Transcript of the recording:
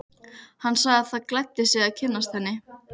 Hann sagði það gleddi sig að kynnast henni.